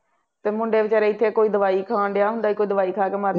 ਅਤੇ ਮੁੰਡੇ ਵਿਚਾਰੇ ਇੱਥੇ ਕੋਈ ਦਵਾਈ ਖਾਣ ਡਿਆ ਹੁੰਦਾ ਵਾ, ਦਵਾਈ ਖਾ ਕੇ ਮਰ